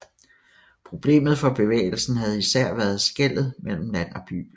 Problemet for bevægelsen havde især været skellet mellem land og by